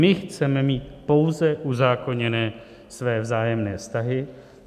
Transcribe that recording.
My chceme mít pouze uzákoněné své vzájemné vztahy.